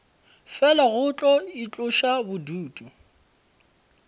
fela go tlo itloša bodutu